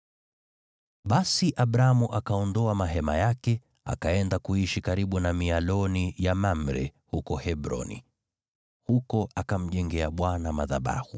Basi Abramu akaondoa mahema yake, akaenda kuishi karibu na mialoni ya Mamre huko Hebroni, huko akamjengea Bwana madhabahu.